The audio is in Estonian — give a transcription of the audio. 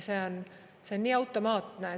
See on nii automaatne.